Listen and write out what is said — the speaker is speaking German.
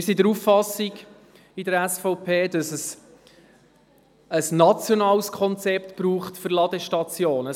Wir sind seitens der SVP der Auffassung, dass es ein nationales Konzept für Ladestationen braucht.